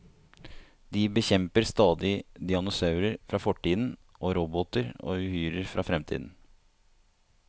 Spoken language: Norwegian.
De bekjemper stadig dinosaurer fra fortiden og roboter og uhyrer fra fremtiden.